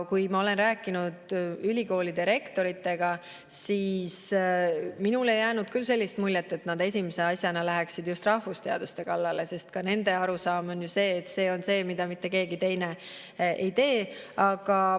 Kui ma olen rääkinud ülikoolide rektoritega, siis minule ei jäänud küll sellist muljet, et nad esimese asjana läheksid just rahvusteaduste kallale, sest ka nende arusaam on, et see on see, mida mitte keegi teine ei tee.